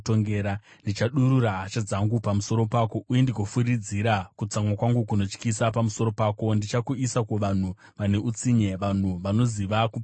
Ndichadurura hasha dzangu pamusoro pako, uye ndigofemera kutsamwa kwangu kunotyisa pamusoro pako; ndichakuisa kuvanhu vane utsinye, vanhu vanoziva kuparadza.